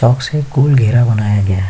Chalk से गोल घेरा बनाया गया है।